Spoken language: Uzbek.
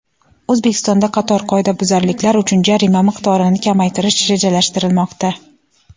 O‘zbekistonda qator qoidabuzarliklar uchun jarima miqdorini kamaytirish rejalashtirilmoqda.